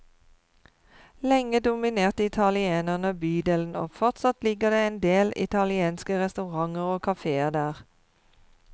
Lenge dominerte italienerne bydelen og fortsatt ligger det en del italienske restauranter og kaféer der.